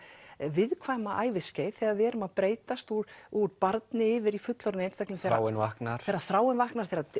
viðkvæma æviskeið þegar við erum að breytast úr úr barni yfir í fullorðinn einstakling Þráin vaknar þegar þráin vaknar þegar